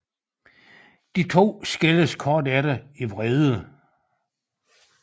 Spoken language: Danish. De to skilles kort efter i vrede